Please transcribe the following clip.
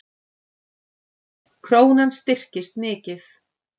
Krónan styrkist mikið